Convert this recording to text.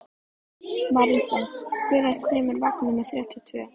Marísa, hvenær kemur vagn númer þrjátíu og tvö?